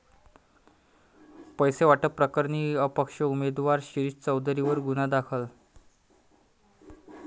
पैसे वाटप प्रकरणी अपक्ष उमेदवार शिरीष चौधरींवर गुन्हा दाखल